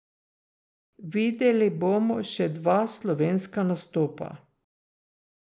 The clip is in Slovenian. Videli bomo še dva slovenska nastopa.